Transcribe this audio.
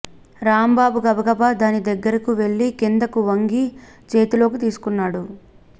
రాంబాబు గబగబా దాని దగ్గరకు వెళ్లి క్రిందకు వంగి చేతిలోకి తీసుకున్నాడు